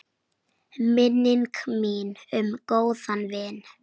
Minning mín um góðan vin.